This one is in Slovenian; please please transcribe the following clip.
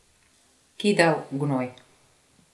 Kidal gnoj.